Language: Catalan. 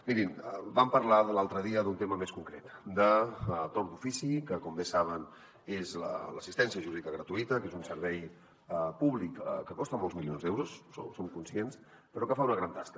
mirin vam parlar l’altre dia d’un tema més concret de torn d’ofici que com bé saben és l’assistència jurídica gratuïta que és un servei públic que costa molts milions d’euros en som conscients però que fa una gran tasca